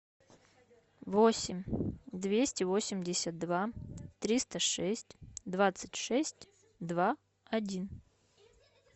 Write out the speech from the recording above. восемь двести восемьдесят два триста шесть двадцать шесть два один